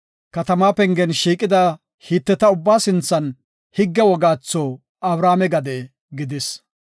katama pengen shiiqida Hiteta ubba sinthan wogatho Abrahaame gade gidis.